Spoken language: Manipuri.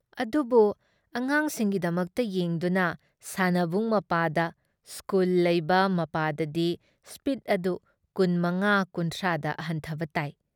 ꯑꯗꯨꯕꯨ ꯑꯉꯥꯡꯁꯤꯡꯒꯤꯗꯃꯛꯇ ꯌꯦꯡꯗꯨꯅ ꯁꯥꯟꯅꯕꯨꯡ ꯃꯄꯥꯗ, ꯁ꯭ꯀꯨꯜꯗ ꯂꯩꯕ ꯃꯄꯥꯗꯗꯤ ꯁ꯭ꯄꯤꯗ ꯑꯗꯨ ꯀꯨꯟ ꯃꯉꯥ ꯀꯨꯟꯊ꯭ꯔꯥ ꯗ ꯍꯟꯊꯕ ꯇꯥꯏ ꯫